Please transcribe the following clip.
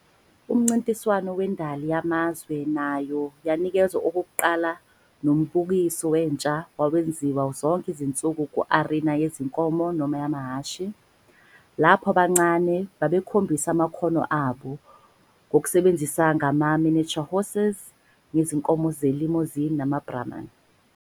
Umncintiswano wendali yamazwe nayo yanikezwa okokuqala nombukiso wentsha wawenziwa zonke izinsuku ku-arina yezinkomo noma amahhashi, lapho abancane babekhombisa amakhono abo ngokusebenza ngama-miniature horses, ngezinkomo ze-Limousin nama-Brahman.